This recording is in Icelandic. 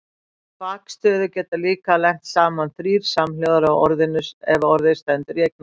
Í bakstöðu geta líka lent saman þrír samhljóðar ef orðið stendur í eignarfalli.